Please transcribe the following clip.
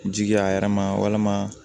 Jigi a yɛrɛ ma walima